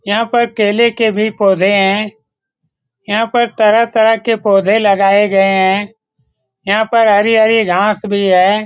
यहाँ पर केले के भी पौधे है यहाँ पर तरह-तरह के पौधे लगाये गए हैं यहाँ पर हरे-हरे घास भी हैं ।